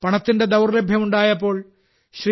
പണത്തിന്റെ ദൌർലഭ്യം ഉണ്ടായപ്പോൾ ശ്രീ